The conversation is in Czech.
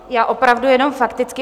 Já opravdu jenom fakticky.